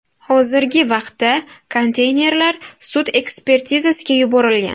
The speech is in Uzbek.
Hozirgi vaqtda konteynerlar sud ekspertizasiga yuborilgan.